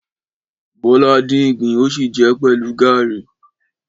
Bọ́lá dín ìgbín o si jẹ pẹ̀lú gàrí.